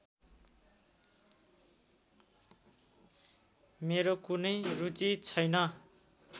मेरो कुनै रुचि छैन